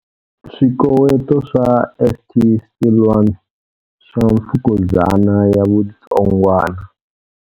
Swikoweto swa St Siluan swa mfukuzana ya vu tsongwana.